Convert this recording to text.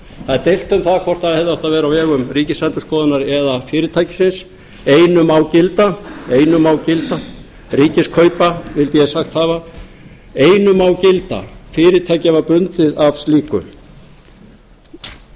það er deilt um það hvort það hefði átt að vera á vegum ríkisendurskoðunar eða fyrirtækisins einu má gilda einu má gilda ríkiskaupa vildi ég sagt hafa einu má gilda fyrirtækið var bundið af slíku ég vek líka athygli á